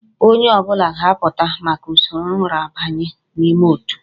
Onye ọ bụla ga-apụta maka usoro nrabanye n'ime òtù